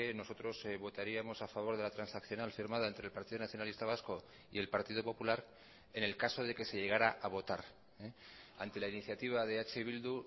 nosotros votaríamos a favor de la transaccional firmada entre el partido nacionalista vasco y el partido popular en el caso de que se llegara a votar ante la iniciativa de eh bildu